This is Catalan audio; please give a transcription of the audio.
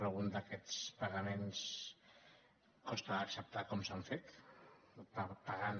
algun d’aquests paga·ments costa d’acceptar com s’ha fet en part pagant